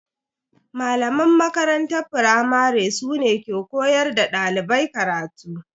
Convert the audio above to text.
Malaman makaranta firamare su ne ke koyar da dalibai karatu.